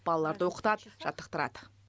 балаларды оқытады жаттықтырады